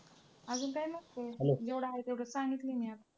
अजून काय नसतं जेवढं आहे ते सांगितलं म्या.